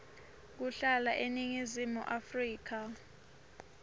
kuhlala eningizimu afrika